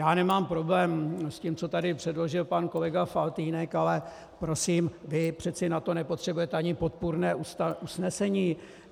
Já nemám problém s tím, co tady předložil pan kolega Faltýnek, ale prosím, vy přece na to nepotřebujete ani podpůrné usnesení.